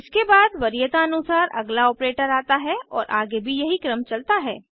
इसके बाद वरीयता अनुसार अगला ऑपरेटर आता है और आगे भी यही क्रम चलता है